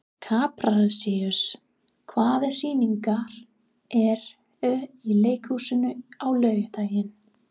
Kaprasíus, hvaða sýningar eru í leikhúsinu á laugardaginn?